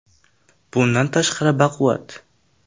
Bundan tashqari baquvvat.